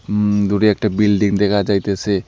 উম দূরে একটা বিল্ডিং দেখা যাইতেসে।